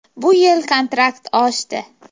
Bu yil kontrakt oshdi.